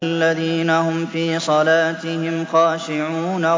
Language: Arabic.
الَّذِينَ هُمْ فِي صَلَاتِهِمْ خَاشِعُونَ